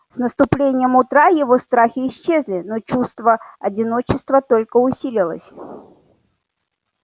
с наступлением утра его страхи исчезли но чувство одиночества только усилилось